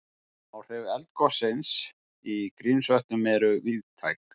Áhrif eldgossins í Grímsvötnum eru víðtæk